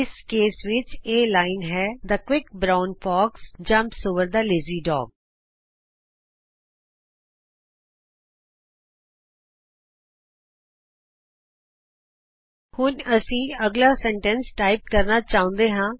ਇਸ ਕੇਸ ਵਿਚ ਇਹ ਲਾਈਨ ਹੈ the quick brown fox jumps over the lazy dog the quick brown fox jumps over the lazy dog ਹੁਣ ਸਾਨੂੰ ਅਗਲਾ ਵਾਕ ਟਾਈਪ ਕਰਨਾ ਚਾਹੁੰਦੇ ਹਾਂ